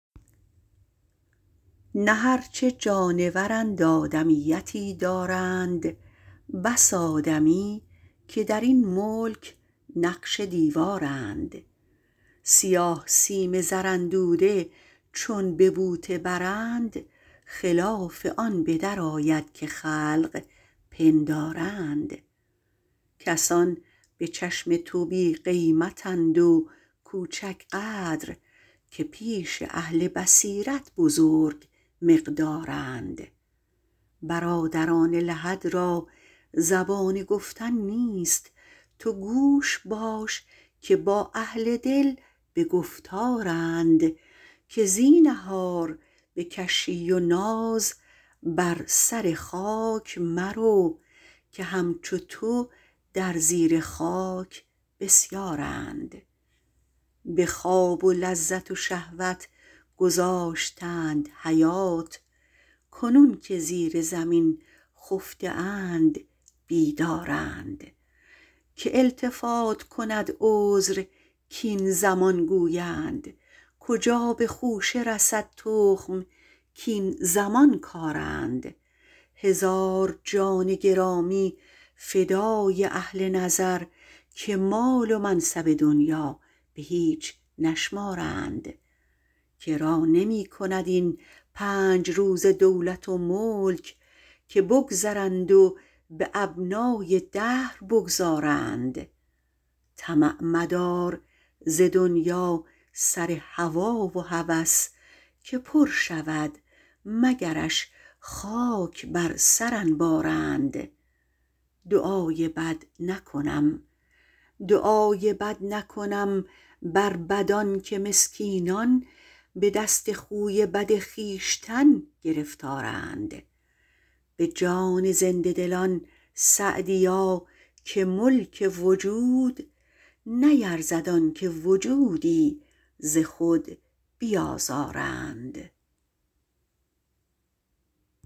نه هرچه جانورند آدمیتی دارند بس آدمی که در این ملک نقش دیوارند سیاه سیم زراندوده چون به بوته برند خلاف آن به درآید که خلق پندارند کسان به چشم تو بی قیمت اند و کوچک قدر که پیش اهل بصیرت بزرگ مقدارند برادران لحد را زبان گفتن نیست تو گوش باش که با اهل دل به گفتارند که زینهار به کشی و ناز بر سر خاک مرو که همچو تو در زیر خاک بسیارند به خواب و لذت و شهوت گذاشتند حیات کنون که زیر زمین خفته اند بیدارند که التفات کند عذر کاین زمان گویند کجا به خوشه رسد تخم کاین زمان کارند هزار جان گرامی فدای اهل نظر که مال و منصب دنیا به هیچ نشمارند که را نمی کند این پنج روزه دولت و ملک که بگذرند و به ابنای دهر بگذارند طمع مدار ز دنیا سر هوا و هوس که پر شود مگرش خاک بر سر انبارند دعای بد نکنم بر بدان که مسکینان به دست خوی بد خویشتن گرفتارند به جان زنده دلان سعدیا که ملک وجود نیرزد آن که وجودی ز خود بیازارند